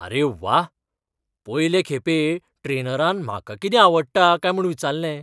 अरे व्वा! पयले खेपे ट्रेनरान म्हाका कितें आवडटा काय म्हूण विचारलें.